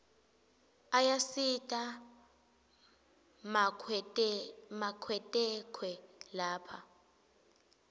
ayasita makwetekwe lapha